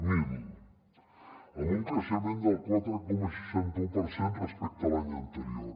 zero amb un creixement del quatre coma seixanta un per cent respecte a l’any anterior